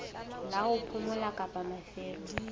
la ho phomola kapa mafelo